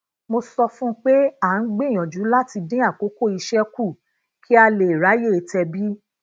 mo sọ fún un pé a ń gbìyànjú láti dín akoko ise ku ka le raye tebi